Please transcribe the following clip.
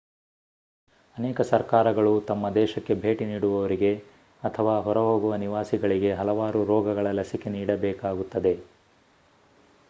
ಅನೇಕ ಸರ್ಕಾರಗಳು ತಮ್ಮ ದೇಶಕ್ಕೆ ಭೇಟಿ ನೀಡುವವರಿಗೆ ಅಥವಾ ಹೊರಹೋಗುವ ನಿವಾಸಿಗಳಿಗೆ ಹಲವಾರು ರೋಗಗಳ ಲಸಿಕೆ ನೀಡಬೇಕಾಗುತ್ತದೆ